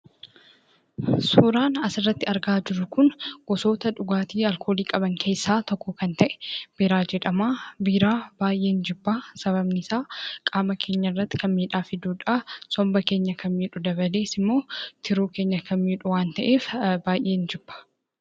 Suuraan asirratti argaa jirru kun gosoota dhugaatii alkoolii qaban keessaa tokko kan ta'e, Biiraa jedhama. Biiraa baay'een jibba. Sababni isaa, qaama keenya irratti kan miidhaa fiduudha. Somba keenya kan miidhu dabalees immoo, tiruu keenya kan miidhu waan ta'eef baay'een jibba.